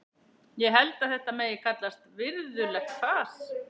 Ég held að þetta megi kallast virðulegt fas.